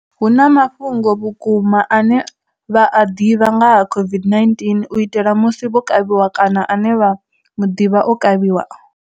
Hu na mafhungo a vhu kuma ane vha a ḓivha nga ha COVID-19 u itela musi vho kavhiwa kana ane vha muḓivha o kavhiwa?